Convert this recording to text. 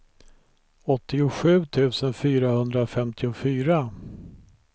åttiosju tusen fyrahundrafemtiofyra